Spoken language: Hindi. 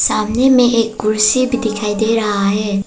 सामने में एक कुर्सी भी दिखाई दे रहा है।